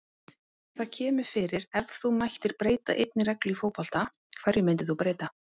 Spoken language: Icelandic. Það kemur fyrir Ef þú mættir breyta einni reglu í fótbolta, hverju myndir þú breyta?